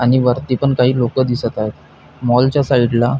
आणि वरती पण काही लोक दिसत आहेत आणि मॉल च्या साइड ला--